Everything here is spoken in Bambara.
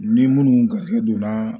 Ni minnu garisigɛ donna